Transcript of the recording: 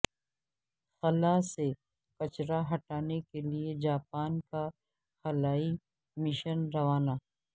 خلا سے کچرا ہٹانے کے لیے جاپان کا خلائی مشن روانہ